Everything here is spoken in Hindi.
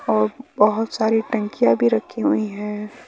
और बहुत सारी टंकियां भी रखी हुई हैं।